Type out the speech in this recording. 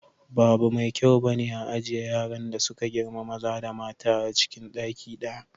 Ba abu mai kyau bane a ajiye yaran da suka girma maza da mata acin ɗaki ɗaya.